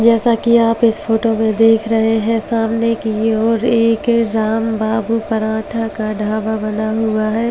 जैसा कि आप इस फोटो में देख रहे हैं सामने की ओर एक रामबाबू पराठा का ढाबा बना हुआ है।